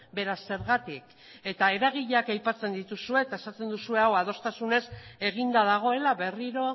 beraz zergatik eta eragileak aipatzen dituzue eta esaten duzue hau adostasunez eginda dagoela berriro